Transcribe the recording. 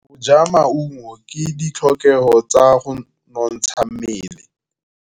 Go ja maungo ke ditlhokegô tsa go nontsha mmele.